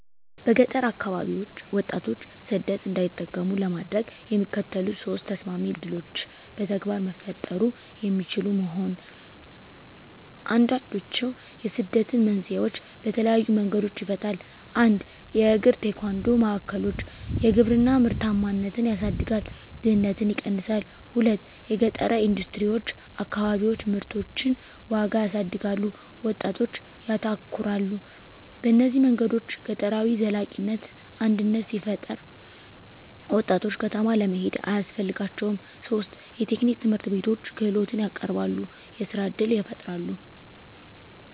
በገጠር አከባቢዎች ወጣቶች ሰደት እንዳይጠቀሙ ለማድረግ፣ የሚከተሉት ሶስት ተሰማሚ ዕድሎች በተግባር መፈጠሩ የሚችሉ መሆን፣ አንዱንድችዉ የስደትን መንስኤዎች በተለየዪ መንገዶች ይፈታል። 1 የእግራ-ቴኳንዶ ማዕከሎች _የግብርና ምርታማነትን ያሳድጋል፣ ድህነትን ይቀነሳል። 2 የገጠረ ኢንደስትሪዎች_ አከባቢዎች ምርቶችን ዋጋ ያሳድጋሉ፣ ወጣቶች ያተኮራሉ። በእነዚህ መንገዶች ገጠራዊ ዘላቂነት አድነት ሲፈጠራ፣ ወጣቶች ከተማ ለመሄድ አያስፈልጋቸውም ; 3 የቴክኒክ ትምህርትቤቶች _ክህሎትን ያቀረበሉ፣ የሥራ እድል ይፈጣራል።